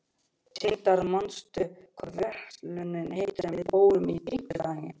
Tindar, manstu hvað verslunin hét sem við fórum í á fimmtudaginn?